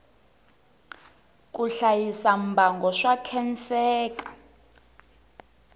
ku hlayisa mbango swa khenseka